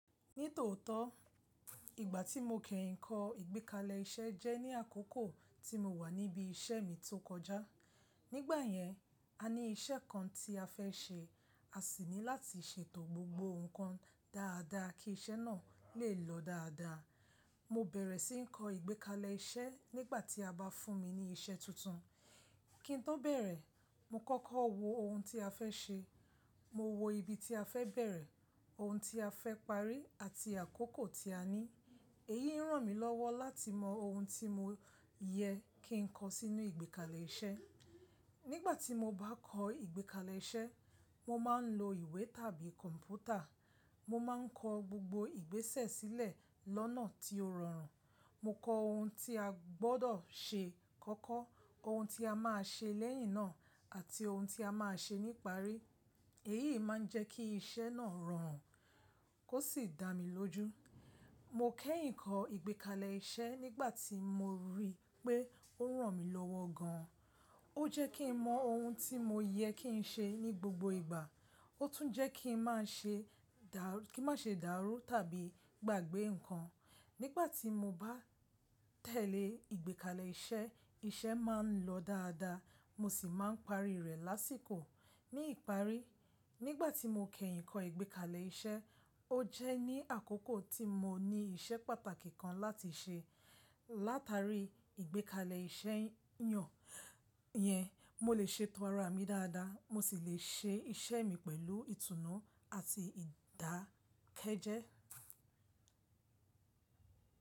Ní tòótọ́, ìgbà tí mo kẹ́yìn kọ ìgbékalẹ̀ iṣẹ́ jẹ́ ní àkókò tí mo wà níbí iṣẹ́ mi tó kọjá. Nígbàyẹn, a ní iṣẹ́ kan tí a fẹ́ ṣe, a sì ní láti ṣètò gbogbo ohun kohun dáadáa kí iṣẹ́ náà lè lọ dáadáa. Mo bẹ̀rẹ̀ síi kọ ìgbékalẹ̀ iṣẹ́ nígbà tí a bá fún mi ní iṣẹ́ tuntun. Kí n tó bẹ̀rẹ̀, mo kọ́kọ́ wo ohun tí a fẹ́ ṣe. Mo wo ibi tí a fẹ́ bẹ̀rẹ̀, ohun tí a fẹ́ parí àti àkókò tí a ní. Èyí ràn mí lọ́wọ́ láti mọ ohun tí mo yẹ kí n kọ sínú ìgbékalẹ̀ iṣẹ́. Nígbà tí mo bá kọ ìgbékalẹ̀ iṣẹ́, mo máa ń lo ìwé tàbí kọ̀ǹpútà. Mo máa ń kọ gbogbo ìgbésẹ̀ sílẹ̀ lọ́nà tí ó rọrùn. Mo kọ ohun tí a gbọdọ̀ ṣe kọ́kọ́, ohun tí a máa ṣe lẹ́yìn náà, àti ohun tí a máa ṣe níparí. Èyí máa ń jẹ́ kí iṣẹ́ náà rọrùn kó sì dá mi lójú. Mo kẹ́yìn ń kọ ìgbékalẹ̀ iṣẹ́ nígbà tí mo rí pé ó ràn mí lọ́wọ́ gan. Ó jẹ́ kí n mọ ohun tí mo yẹ kí n ṣe ní gbogbo ìgbà. Ó tún jẹ́ kí n má ṣe dàrú kin mase daru tàbí gbàgbé nǹkan. Nígbà tí mo bá tẹ̀lé ìgbékalẹ̀ iṣẹ́, iṣẹ́ máa ń lọ dáadáa mo sì máa ń parí rẹ̀ lásìkò. Ní ìparí, nígbà tí mo kẹ́yìn ń kọ ìgbékalẹ̀ iṣẹ́, ó jẹ́ ní àkókò tí mo ní iṣẹ́ pàtàkì kan láti ṣe. Látàrí ìgbékalẹ̀ iṣẹ́ yàn yẹn, mo lè ṣe tọ́ra mi dáadáa mo sì lè ṣe iṣẹ́ mi pẹ̀lú ìtùnú àti ìdákẹ́jẹ́.